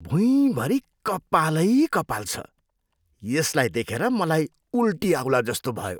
भुइँभरि कपालै कपाल छ। यसलाई देखेर मलाई उल्टी आउलाजस्तो भयो।